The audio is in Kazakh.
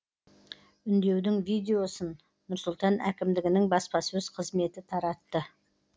үндеудің видеосын нұр сұлтан әкімдігінің баспасөз қызметі таратты